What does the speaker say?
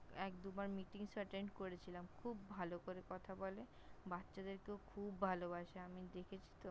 খুব ভালো করে কথা বলে । বাচ্চাদেরকেও খুব ভালবাসে আমি দেখেছি তো! খুব ভালো করে বাচ্চাদের, হ্যাঁ!